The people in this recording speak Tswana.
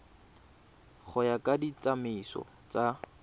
go ya ka ditsamaiso tsa